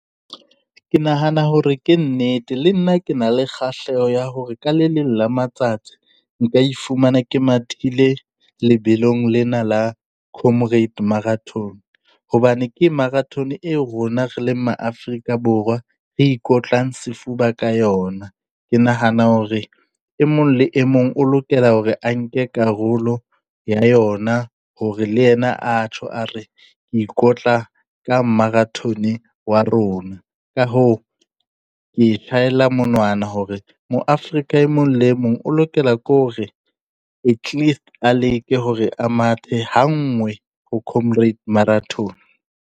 Ke nahana hore ke nnete, le nna ke na le kgahleho ya hore ka le leng la matsatsi nka ifumana ke mathile lebelong lena la comrade marathon, hobane ke marathon e rona re leng ma Afrika Borwa re ikotlang sefuba ka yona. Ke nahana hore e mong le e mong o lokela hore a nke karolo ya yona, hore le yena a tjho a re ke ikotla ka marathon wa rona. Ka hoo, ke e monwana hore mo Afrika e mong le mong o lokela ke hore at least a le ke hore a mathe ha nngwe ho comrades marathon.